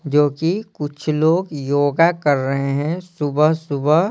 जो कि कुछ लोग योगा कर रहे हैं सुबह-सुबह।